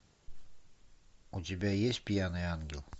у тебя есть пьяный ангел